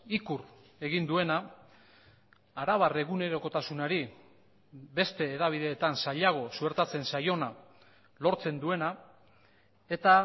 ikur egin duena arabar egunerokotasunari beste hedabideetan zailago suertatzen zaiona lortzen duena eta